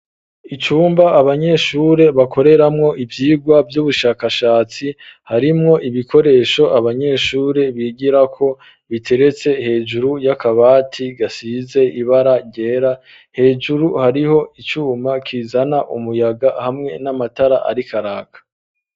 Icumba, abanyeshure bakoreramwo ivyigwa vy'ubushakashatsi, harimwo ibikoresho abanyeshure bigirako, biteretse hejuru y'akabati gasize ibara ryera; hejuru hariho icuma kizana umuyaga, hamwe n'amatara ariko araka.